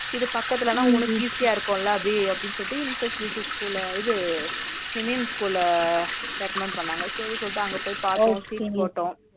இது பக்கத்துலனா உங்களுக்கு easy யா இருக்கும்லா அபி அப்டினு சொல்லிட்டு infant jesus school லா இது இமயம் school ல recommend பண்ணாங்க சரினு சொல்லிட்டு அங்க போய் பாத்தோம் sheet போட்டோம்